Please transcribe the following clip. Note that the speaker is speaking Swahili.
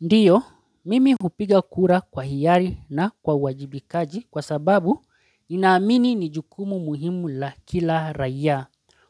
Ndio, mimi hupiga kura kwa hiari na kwa uwajibikaji kwa sababu ninaamini ni jukumu muhimu la kila raiya.